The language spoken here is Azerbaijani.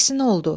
Əksinə oldu.